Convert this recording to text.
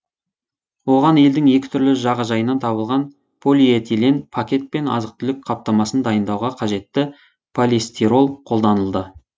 оған елдің екі түрлі жағажайынан табылған полиэтилен пакет пен азық түлік қаптамасын дайындауға қажетті полистирол қолданылды